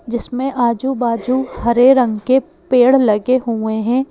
जिसमें आजू-बाजू हरे रंग के पेड़ लगे हुए हैं।